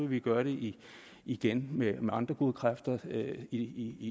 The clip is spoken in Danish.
vi gøre det igen med andre gode kræfter i